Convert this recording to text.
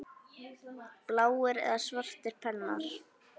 Bláir eða svartir pennar?